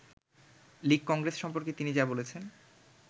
‘লীগ-কংগ্রেস’ সম্পর্কে তিনি যা বলেছেন